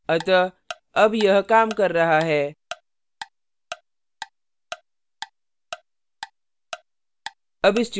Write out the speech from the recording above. अतः अब यह काम कर रहा है